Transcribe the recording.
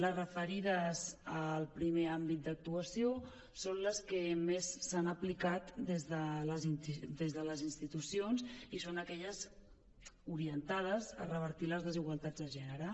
les referides al primer àmbit d’actuació són les que més s’han aplicat des de les institucions i són aquelles orientades a revertir les desigualtats de gènere